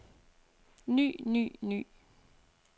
ny ny ny